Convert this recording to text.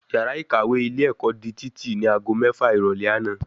Yàrá ìkàwé ilé ẹ̀kọ́ di títì ní ago mẹ́fà ìrọ̀lẹ́ àná